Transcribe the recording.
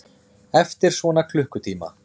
Eftir svona klukkutíma.